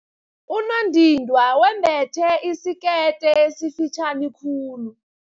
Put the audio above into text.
Unondindwa wembethe isikete esifitjhani khulu.